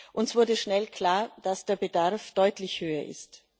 Uns wurde schnell klar, dass der Bedarf deutlich höher ist.